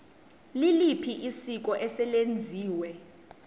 liliphi isiko eselenziwe